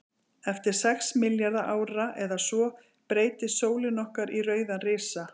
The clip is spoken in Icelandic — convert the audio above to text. Eftir sex milljarða ára eða svo, breytist sólin okkar í rauðan risa.